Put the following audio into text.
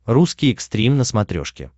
русский экстрим на смотрешке